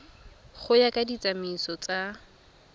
go ya ka ditsamaiso tsa